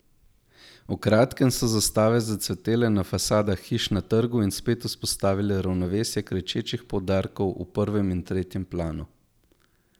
V kratkem so zastave zacvetele na fasadah hiš na trgu in spet vzpostavile ravnovesje kričečih poudarkov v prvem in v tretjem planu.